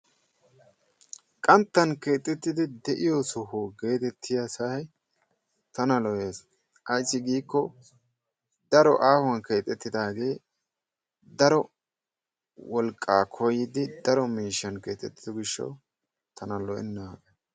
Qanttan keexxeettidi de'iyo soho gettettiya sa'ay tana lo"ees. Ayssi giikko daro aahuwaan keexxeetidaagee daro wolqqaa koyyidi daro miishshan keexxettido giishshawu tana lo"enna.